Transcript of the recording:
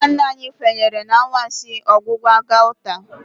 Ndị nna nna anyị kwenyere na anwansi ọgwụgwọ gauta.